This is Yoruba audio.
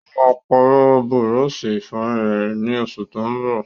Ó máa pàrọ̀ búrọ́sì-ìfọyín rẹ̀, ní oṣù tó n bọ̀.